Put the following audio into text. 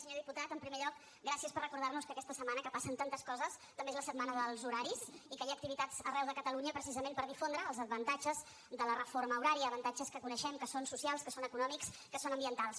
senyor diputat en primer lloc gràcies per recordar nos que aquesta setmana que passen tantes coses també és la setmana dels horaris i que hi ha activitats arreu de catalunya precisament per difondre els avantatges de la reforma horària avantatges que coneixem que són socials que són econòmics que són ambientals